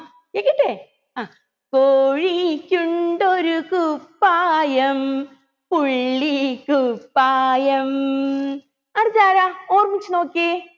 കേക്കട്ടെ അഹ് കോഴിക്കുണ്ടൊരു കുപ്പായം പുള്ളിക്കുപ്പായം അടുത്തതാരാ ഓർമ്മിച്ച് നോക്കിയെ